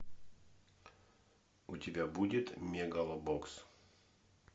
у тебя будет мегалобокс